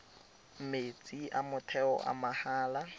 metsi a motheo a mahala